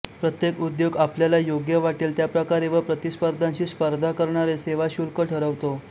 प्रत्येक उद्योग आपल्याला योग्य वाटेल त्या प्रकारे व प्रतिस्पर्ध्याशी स्पर्धा प्रकारे सेवा शुल्क ठरवतो